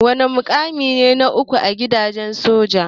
Wana mukamin na uku a gidan soja?